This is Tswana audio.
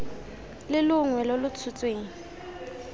le longwe lo lo tshotsweng